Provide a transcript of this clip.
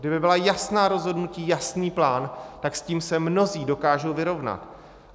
Kdyby byla jasná rozhodnutí, jasný plán, tak s tím se mnozí dokážou vyrovnat.